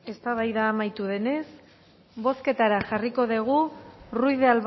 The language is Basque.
eztabaida amaitu denez bozketara jarriko dugu ruiz de